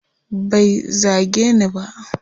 Bai zage ni ba.